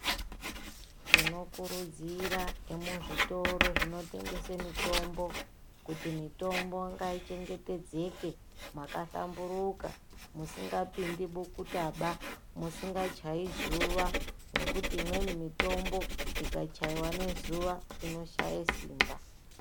Tinokuridzira emuzvitoro zvinotengeswa mitombo kuti mutombo ngaichengetedzeke makahlamburika musingapindi bukuta musingachayi zuwa ngekuti imweni mutombo ikachaiwa ngezuwa inoshaiwa simba.